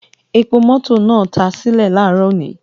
Epo mọto naa ta sile laaro oni